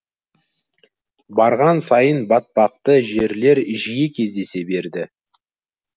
барған сайын батпақты жерлер жиі кездесе берді